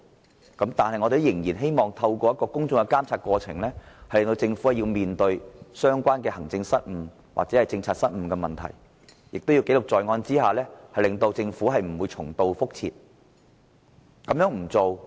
不過，我們民主派仍然希望透過公眾監察的過程，藉專責委員會要求政府面對相關的行政或政策失誤，並記錄在案，令政府不會重蹈覆轍。